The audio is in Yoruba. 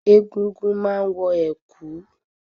Egúngún má ń wọ̀ ẹ̀kú